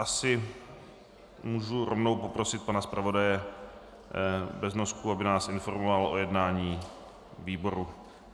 Asi můžu rovnou poprosit pana zpravodaje Beznosku, aby nás informoval o jednání výboru.